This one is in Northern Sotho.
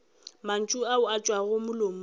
mantšu ao a tšwago molomong